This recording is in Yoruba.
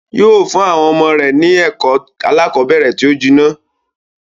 Yóó fún àwọn ọmọ rẹ̀ ni ẹ̀kọ́ aláàkọ́bẹ̀rẹ̀ tó jinná.